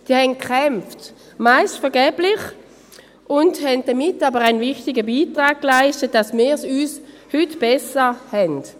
Sie haben gekämpft, meist vergeblich, und leisteten damit einen wichtigen Beitrag, damit wir es heute besser haben.